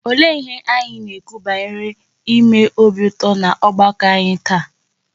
Olee ihe anyị na-ekwu banyere ime obi ụtọ n'ọgbakọ anyị taa?